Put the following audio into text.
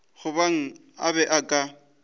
gobane a be a ka